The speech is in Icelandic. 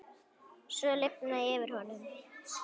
Svo lifnaði yfir honum.